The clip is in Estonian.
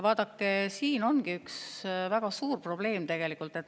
Vaadake, siin ongi üks väga suur probleem tegelikult.